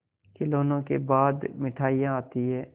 खिलौनों के बाद मिठाइयाँ आती हैं